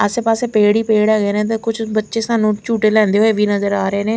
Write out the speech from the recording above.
आसे पासे पेड़ ही पेड़ हैंगे ने ते कुछ बच्चे साणु झुटे लेदे हुए वी नजर आ रहे हैं।